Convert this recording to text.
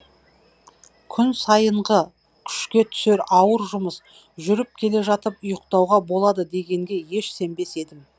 күн сайынғы күшке түсетін ауыр жұмыс жүріп келе жатып ұйқтауға болады дегенге еш сенбес едім